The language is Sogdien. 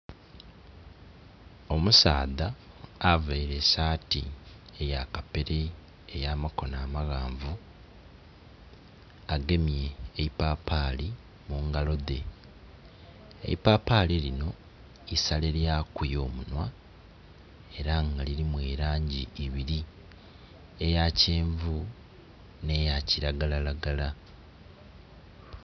Omusaadha availe esaati eya kapere ey'amakono amaghanvu, agemye eipapaali mu ngalo dhe. Eipapaali linho isalelyaku y'omunhwa ela nga lilimu elangi ibili, eya kyenvu nh'eya kilagalalagala